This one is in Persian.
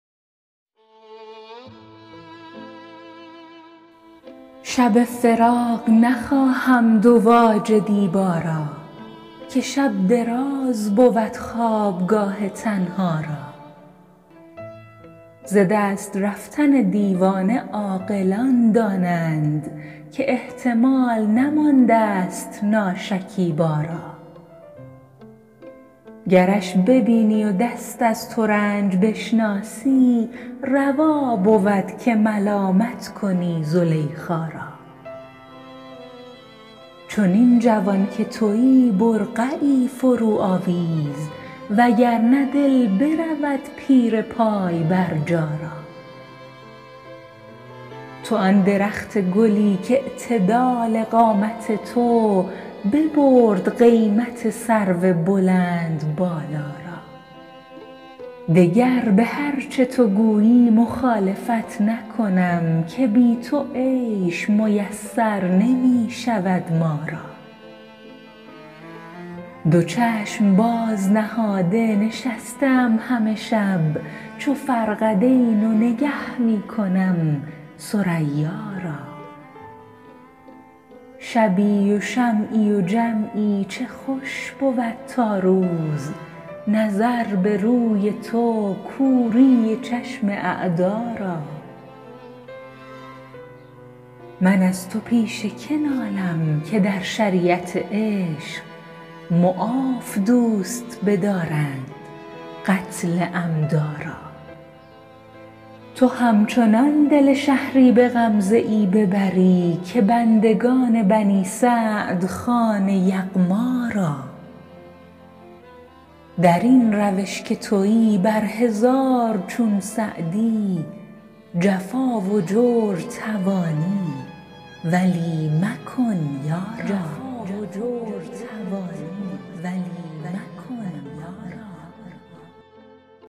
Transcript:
شب فراق نخواهم دواج دیبا را که شب دراز بود خوابگاه تنها را ز دست رفتن دیوانه عاقلان دانند که احتمال نماندست ناشکیبا را گرش ببینی و دست از ترنج بشناسی روا بود که ملامت کنی زلیخا را چنین جوان که تویی برقعی فروآویز و گر نه دل برود پیر پای برجا را تو آن درخت گلی کاعتدال قامت تو ببرد قیمت سرو بلندبالا را دگر به هر چه تو گویی مخالفت نکنم که بی تو عیش میسر نمی شود ما را دو چشم باز نهاده نشسته ام همه شب چو فرقدین و نگه می کنم ثریا را شبی و شمعی و جمعی چه خوش بود تا روز نظر به روی تو کوری چشم اعدا را من از تو پیش که نالم که در شریعت عشق معاف دوست بدارند قتل عمدا را تو همچنان دل شهری به غمزه ای ببری که بندگان بنی سعد خوان یغما را در این روش که تویی بر هزار چون سعدی جفا و جور توانی ولی مکن یارا